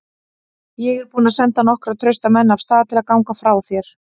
Ég er búinn að senda nokkra trausta menn af stað til að ganga frá þér.